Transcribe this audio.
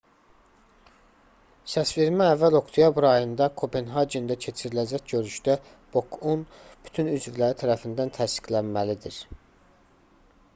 səsvermə əvvəl oktyabr ayında kopenhagendə keçiriləcək görüşdə bok-un bütün üzvləri tərəfindən təsdiqlənməlidir